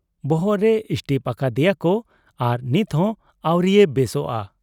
ᱵᱚᱦᱚᱜ ᱨᱮ ᱥᱴᱤᱯ ᱟᱠᱟᱫ ᱮᱭᱟᱠᱚ ᱟᱨ ᱱᱤᱛᱦᱚᱸ ᱟᱹᱣᱨᱤᱭᱮ ᱵᱮᱥᱚᱜ ᱟ ᱾